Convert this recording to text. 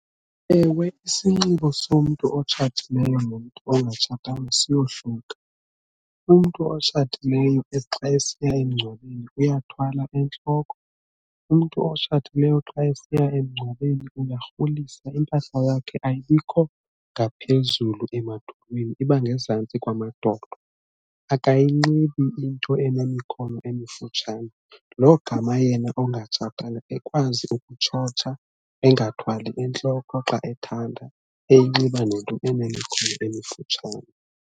Ewe, isinxibo somntu otshatileyo nomntu ongatshatanga siyohluka umntu otshatileyo xa esiya emngcwabeni uyathwala entloko, umntu otshatileyo xa esiya emngcwabeni uyarholisa impahla yakhe ayibikho ngaphezulu emadolweni iba ngezantsi kwamadolo akayinxibi into enemikhono emifutshane lo gama yena ongatshatanga ekwazi ukutshotsha engathwali entloko xa ethanda, eyinxiba nento enemikhono emifutshane.